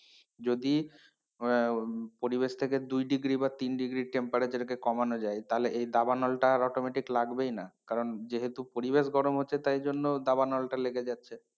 যদি আহ পরিবেশ টাকে দুই degree বা তিন degree temperature কে কমানো যাই তাহলে এই দাবানল টা আর automatic লাগবে না কারণ যেহেতু পরিবেশ গরম হচ্ছে তাইজন্য দাবনানটা লেগে যাচ্ছে।